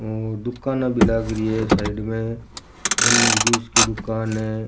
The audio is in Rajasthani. और दुकाना भी लागरी है साइड में गन्ना के जूस की दुकान है।